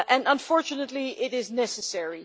Unfortunately, it is necessary.